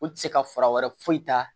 U ti se ka fura wɛrɛ foyi ta